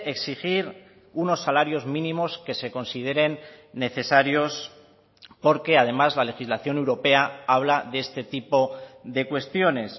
exigir unos salarios mínimos que se consideren necesarios porque además la legislación europea habla de este tipo de cuestiones